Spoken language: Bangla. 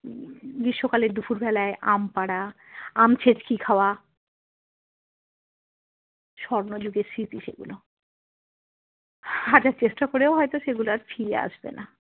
গ্রীষ্মকালের দুপুর বেলায় আম পাড়া আম ছেঁচকি খাওয়া স্বর্ণ যুগের স্মৃতি সেগুলো হাজার চেষ্টা করেও হয়ত সেগুলো আর ফিরে আসবে না।